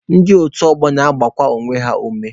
Ndị otu ọgbọ na-agbakwa onwe ha ume.